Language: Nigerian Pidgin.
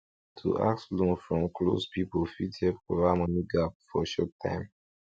to ask loan from close people fit help cover money gap for short time